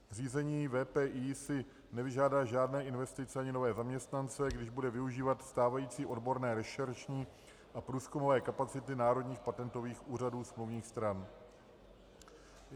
Zřízení VPI si nevyžádá žádné investice ani nové zaměstnance, když bude využívat stávající odborné rešeršní a průzkumové kapacity národních patentových úřadů smluvních stran.